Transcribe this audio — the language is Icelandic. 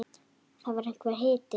Og það var einhver hiti.